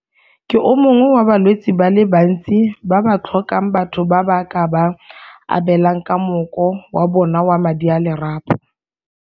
Ke o mongwe wa balwetse ba le bantsi ba ba tlhokang batho ba ba ka ba abelang ka mmoko wa bona wa madi a lerapo.